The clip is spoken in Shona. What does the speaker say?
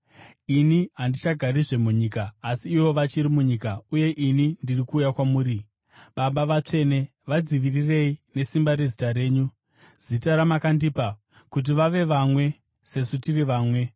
Ini handichagarizve munyika, asi ivo vachiri munyika, uye ini ndiri kuuya kwamuri. Baba Vatsvene, vadzivirirei nesimba rezita renyu, zita ramakandipa, kuti vave vamwe sesu tiri vamwe.